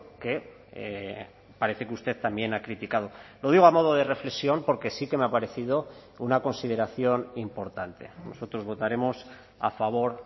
que parece que usted también ha criticado lo digo a modo de reflexión porque sí que me ha parecido una consideración importante nosotros votaremos a favor